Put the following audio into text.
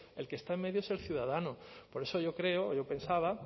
el que está en medio es el ciudadano por eso yo creo yo pensaba